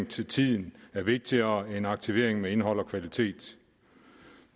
til tiden er vigtigere end aktivering med indhold og kvalitet